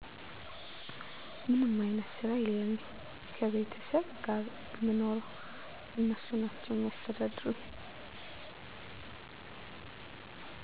ምንም አይነት ስራ የለኝም ከቤተሰብ ጋር የምኖረው እነሱ ናቸው የሚያስተዳድሩኝ